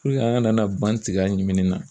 Puruke an kana na ban tiga ɲimini na